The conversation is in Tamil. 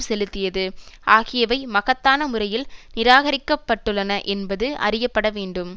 செலுத்தியது ஆகியவை மகத்தான முறையில் நிராகரிக்கப்பட்டுள்ளன என்பது அறியப்பட வேண்டும்